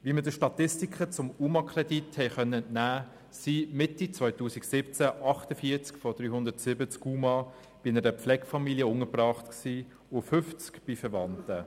Wie wir den Statistiken zum UMA-Kredit entnehmen konnten, waren Mitte 2017 48 von 370 UMA bei einer Pflegefamilie untergebracht und 50 bei Verwandten.